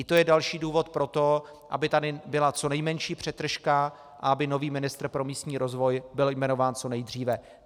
I to je další důvod pro to, aby tady byla co nejmenší přetržka a aby nový ministr pro místní rozvoj byl jmenován co nejdříve.